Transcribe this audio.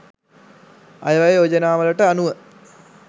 අයවැය යෝජනාවලට අනුව